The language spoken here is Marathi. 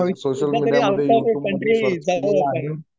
भविष्यामध्ये कधी आउट ऑफ कंट्री जाऊया आपण